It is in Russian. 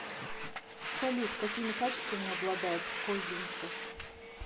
салют какими качествами обладает козинцев